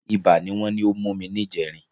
Ibà ni wọ́n ní ó mú mi níjẹrin